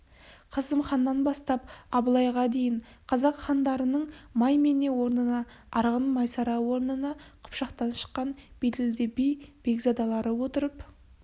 қасым ханнан бастап абылайға дейін қазақ хандарының маймене орнына арғын майсара орнына қыпшақтан шыққан беделді би бекзадалары отырып